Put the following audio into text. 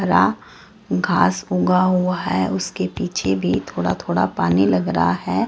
हरा घास उगा हुआ है उसके पीछे भी थोड़ा थोड़ा पानी लग रहा है।